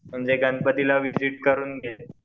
म्हणजे गणपतीला विझिट करून